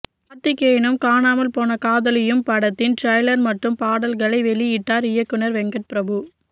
கார்த்திகேயனும் காணாமல் போன காதலியும் படத்தின் டிரைலர் மற்றும் பாடல்களை வெளியிட்டார் இயக்குனர் வெங்கட் பிரபு